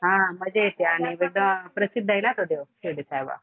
हा मज्जा येते आणि तिथं प्रसिद्धये ना तो देव. शिर्डी साईबाबा.